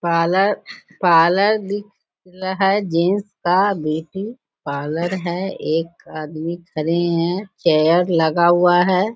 Parlour parlour दिख रहा है जेंट्स का पार्लर है एक आदमी खड़े है चेयर लगा हुआ है।